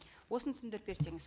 осыны түсіндіріп берсеңіз